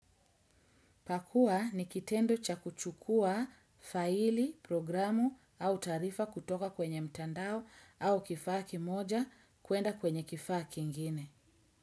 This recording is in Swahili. Pakua ni kitendo cha kuchukua faili, programu au taarifa kutoka kwenye mtandao au kifaa kimoja kuenda kwenye kifaa kingine.